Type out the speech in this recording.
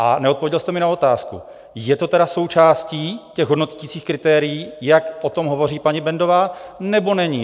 A neodpověděl jste mi na otázku: Je to tedy součástí těch hodnoticích kritérií, jak o tom hovoří paní Bendová, nebo není?